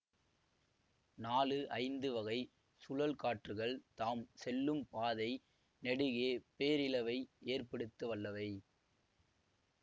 நாலு ஐந்து வகை சுழல்காற்றுக்கள் தாம் செல்லும் பாதை நெடுகே பேரிழவை ஏற்படுத்த வல்லவை